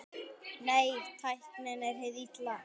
Nei, tæknin er hið illa.